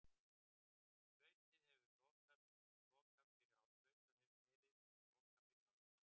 Flautað hefur verið loka fyrri hálfleiks